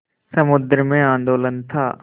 समुद्र में आंदोलन था